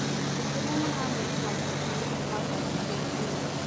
njitiria mahamri ma njibini kũma kwa chicken inn